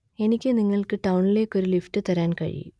എനിക്ക് നിങ്ങൾക്ക് ടൌണിലേക്ക് ഒരു ലിഫ്റ്റ് തരാൻ കഴിയും